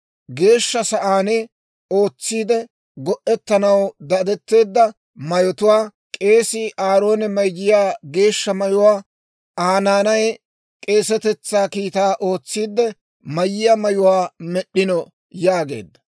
Geeshsha Sa'aan ootsiidde go"etanaw dadetteedda mayotuwaa, k'eesii Aaroone mayiyaa geeshsha mayuwaa Aa naanay k'eesetetsaa kiitaa ootsiidde mayiyaa mayuwaa med'd'ino» yaageedda.